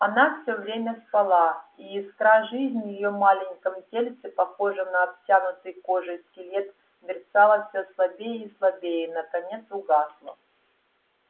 она всё время спала и искра жизни в её маленьком тельце похожем на обтянутый кожей скелет мерцала всё слабее и слабее и наконец угасла